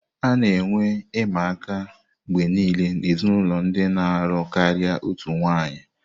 A na-enwe ịma aka mgbe niile n'ezinụlọ ndị na-alụ karịa otu nwanyị.